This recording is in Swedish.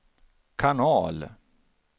kanal